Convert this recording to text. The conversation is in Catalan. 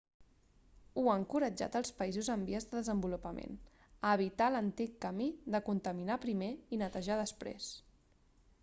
hu ha encoratjat els països en vies de desenvolupament a evitar l'antic camí de contaminar primer i netejar després